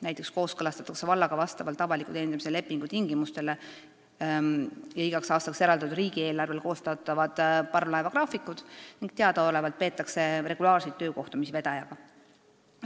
Näiteks kooskõlastatakse vallaga vastavalt avaliku teenindamise lepingu tingimustele ja igaks aastaks eraldatud riigieelarvele koostatavad parvlaevagraafikud ning teadaolevalt peetakse regulaarseid töökohtumisi vedajaga.